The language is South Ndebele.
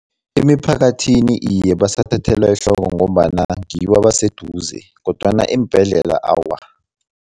Emiphakathini, iye basathathelwa ehloko ngombana ngibo abaseduze kodwana eembhedlela awa.